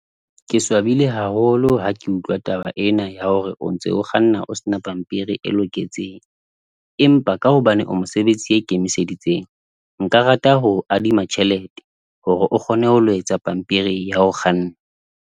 Ke swabile haholo ha ke utlwa taba ena, ya hore o ntse o kganna o sena pampiri e loketseng. Empa ka hobane o mosebetsi ya ikemiseditseng. Nka rata hoo adima tjhelete hore o kgone ho lo etsa pampiri ya ho kganna.